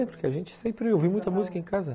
Vem, porque a gente sempre ouve muita música em casa.